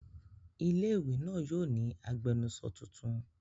Ilé-ìwé náà yóò ní agbẹnusọ tuntun.